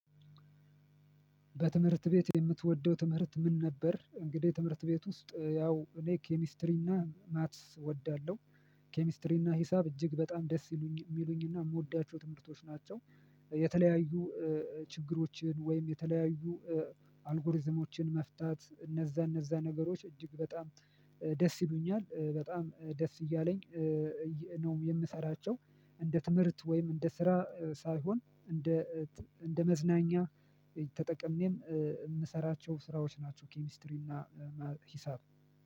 በትምህርት ቤት የምትወደው ትምህርት ምን ነበር? እንግዲህ ትምህርት ቤት ውስጥ ያው እኔ ኬሚስትሪና ማትስ እወዳለሁ ኬሚስትሪ እና ሂሳብ እጅግ በጣም ደስ ይሉኝ የሚሉኝ እና የምወዳቸው ትምህርቶች ናቸው። የተለያዩ ችግሮችን ወይም የተለያዩ አልጎሪዝሞችን መፍታት እነዛ እነዛ ነገሮች እጅግ በጣም ደስ ይሉኛል በጣም ደስ እያለኝ። ነው የምሰራቸው እንደ ትምህርት ወይም እንደ ስራ ሳይሆን እንደ እንደ መዝናኛ ተጠቅሜም የምሰራቸው ስራዎች ናቸው ኬሚስትሪ እና ሂሳብ